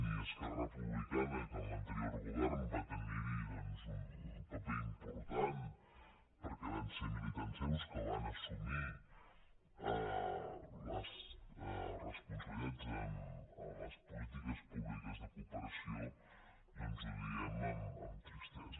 i esquerra republicana que en l’anterior govern va tenir hi un paper important perquè van ser militants seus que van assumir les responsabilitats en les polítiques públiques de cooperació doncs ho diem amb tristesa